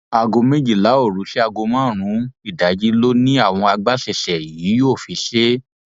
aago méjìlá òru sí aago márùnún ìdájí ló ní àwọn agbaṣẹṣe yìí yóò fi ṣe é